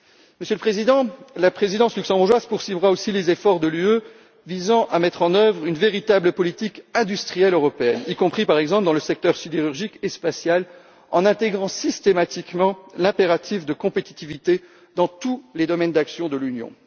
Monsieur le Président, la présidence luxembourgeoise poursuivra aussi les efforts de l'Union visant à mettre en œuvre une véritable politique industrielle européenne, y compris, par exemple, dans le secteur sidérurgique et le secteur spatial, en intégrant systématiquement l'impératif de compétitivité dans tous les domaines d'action de l'Union.